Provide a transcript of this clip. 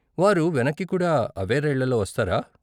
వారు వెనక్కి కూడా అవే రైళ్ళలో వస్తారా?